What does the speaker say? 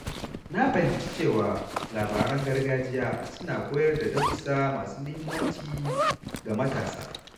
Na fahimci cewa labaran gargajiya suna koyar da darussa masu muhimmanci ga matasa.